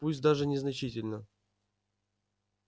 пусть даже незначительно